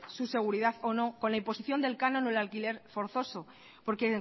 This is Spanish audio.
su seguridad o no con la imposición del canon o el alquiler forzoso porque